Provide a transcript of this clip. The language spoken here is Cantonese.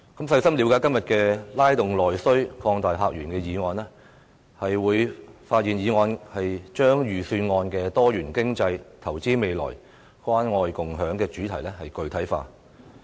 細心了解"拉動內需擴大客源"的議案，便會發現議案把財政預算案"多元經濟、投資未來、關愛共享"的主題具體化。